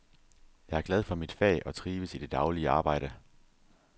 Jeg er glad for mit fag og trives i det daglige arbejde.